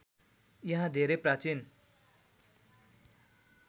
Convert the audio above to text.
यहाँ धेरै प्राचीन